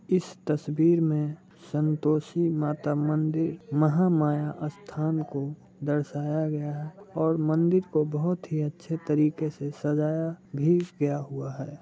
इस तसवीर में संतोषी माता मंदिर महामाया आस्थान को दर्शाया गया और मंदिर को बोहत ही अच्छे तरीके से सजाया भी गया हुआ है।